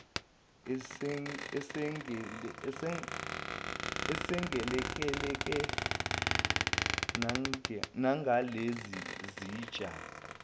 esengelekelela nangalezi zitsha